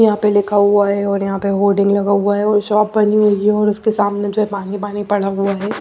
यहाँ पे लिखा हुआ है और यहाँ पे होल्डिंग लगा हुआ है और शॉप बनी हुई है और उसके सामने जो है पानी पानी पड़ा हुआ है।